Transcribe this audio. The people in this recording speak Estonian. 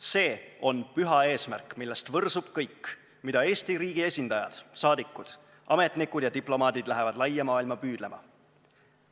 See on püha eesmärk, millest võrsub kõik, mida Eesti riigi esindajad, saadikud, ametnikud ja diplomaadid lähevad laia maailma püüdlema.